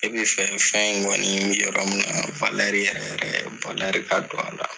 E bi fɛ fɛn in kɔni bɛ yɔrɔ min na yɛrɛr yɛrɛ ka don a la.